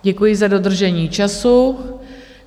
Děkuji za dodržení času.